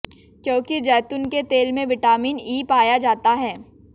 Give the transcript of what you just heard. क्योंकि जैतून के तेल में विटामिन ई पाया जाता है